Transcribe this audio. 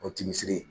O tisi